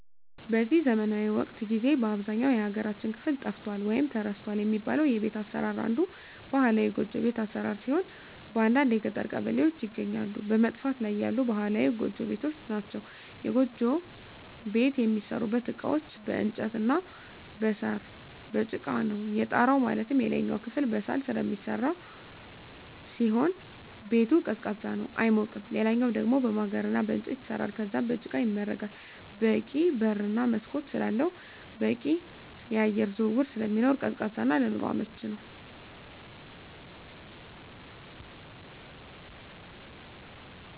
በዚህ ዘመናዊ ወቅት ጊዜ በአብዛኛው የሀገራችን ክፍል ጠፍቷል ወይም ተረስቷል የሚባለው የቤት አሰራር አንዱ ባህላዊ ጎጆ ቤት አሰራር ሲሆን በአንዳንድ የገጠር ቀበሌዎች ይገኛሉ በመጥፋት ላይ ያሉ ባህላዊ ጎጆ ቤቶች ናቸዉ። የጎጆ ቤት የሚሠሩበት እቃዎች በእንጨት እና በሳር፣ በጭቃ ነው። የጣራው ማለትም የላይኛው ክፍል በሳር ስለሚሰራ ሲሆን ቤቱ ቀዝቃዛ ነው አይሞቅም ሌላኛው ደሞ በማገር እና በእንጨት ይሰራል ከዛም በጭቃ ይመረጋል በቂ በር እና መስኮት ስላለው በቂ የአየር ዝውውር ስለሚኖር ቀዝቃዛ እና ለኑሮ አመቺ ነው።